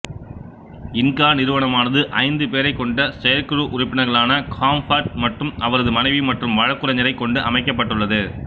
Inca நிறுவனமானது ஐந்து பேரைக் கொண்ட செயற்குழு உறுப்பினர்களான காம்பார்ட் மற்றும் அவரது மனைவி மற்றும் வழக்குரைஞரைக் கொண்டு அமைக்கப்பட்டுள்ளது